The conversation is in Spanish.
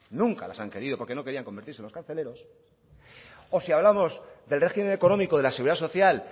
nunca las han querido porque no querían convertirse en los carceleros o si hablamos del régimen económico de la seguridad social